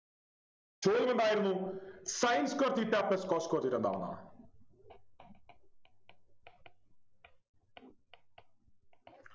ചോദ്യമെന്തായിരുന്നു Sin square theta plus cos square theta എന്താണെന്നാണ്